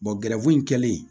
in kɛlen